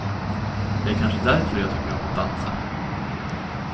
Det är kanske därför jag tycker om att dansa.